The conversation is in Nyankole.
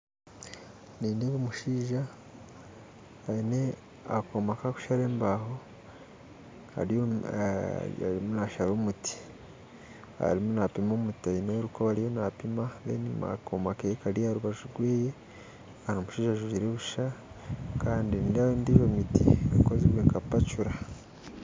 Nindeeba omushaija aine akooma ky'okushaara embaho ariyo nashaara omuti arimu nampima omuti aine orukoba arimu nampima akooma ke kari aharubaju rwe omushaija ajwire busha kandi nindeebaho endiijo miti ekozirwe nka pacuura